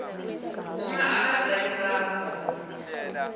uma abazali bakho